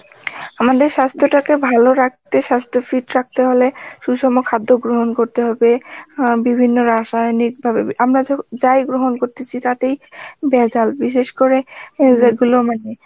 আমাদের স্বাস্থ্য টাকে ভালো রাখতে স্বাস্থ্য fit রাখতে হলে সুসম খাদ্য গ্রহণ করতে হবে অ্যাঁ বিভিন্ন রাসায়নিক ভাবে~ আমরা যখন যাই গ্রহণ করতেছি তাতেই ভেজাল বিশেষ করে আহ যেগুলো মানে